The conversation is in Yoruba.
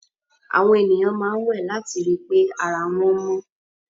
Àwọn ènìyàn máa ń wẹ̀ láti ri pé ara wọn mọ́.